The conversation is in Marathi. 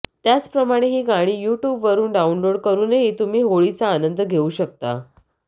त्याचप्रमाणे ही गाणी युट्यूबवरून डाउनलोड करूनही तुम्ही होळीचा आनंद घेऊ शकता